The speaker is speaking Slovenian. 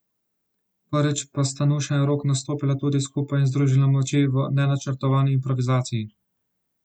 Prvič pa sta Nuša in Rok nastopila tudi skupaj in združila moči v nenačrtovani improvizaciji.